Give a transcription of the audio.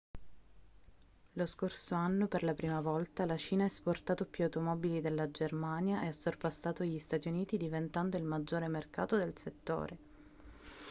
lo scorso anno per la prima volta la cina ha esportato più automobili della germania e ha sorpassato gli stati uniti diventando il maggiore mercato del settore